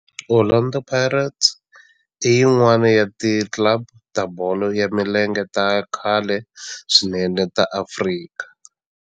Orlando Pirates i yin'wana ya ti club ta bolo ya milenge ta khale swinene ta Afrika.